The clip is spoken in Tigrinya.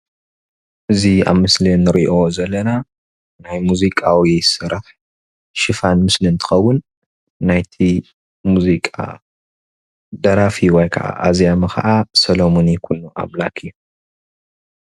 እዚ ኣብ ምስሊ እንሪኦ ዘለና ናይ ሙዚቃዊ ስራሕ ሽፋን ምስሊ እንትኸውን ናይቲ ሙዚቃ ደራፊ ወይ ካዓ አዝያሚ ካዓ ደራፊ ሶሎሙን ይኩኖ ኣምላክ እዩ፡፡